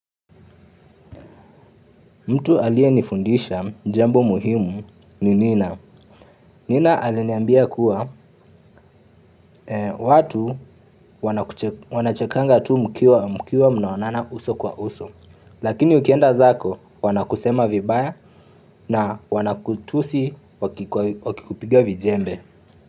Mtu aliye nifundisha jambo muhimu ni nina. Nina aliniambia kuwa watu wanachekanga tu mkiwa mnaonana uso kwa uso. Lakini ukienda zako wanakusema vibaya na wanakutusi wakikupiga vijembe.